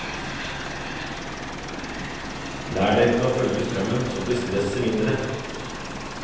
Lær deg til å følge strømmen, så blir stresset mindre.